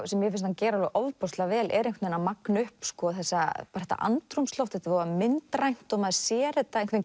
sem mér finnst hann gera ofboðslega vel er einhvern veginn að magna upp þetta andrúmsloft þetta er voða myndrænt og maður sér þetta einhvern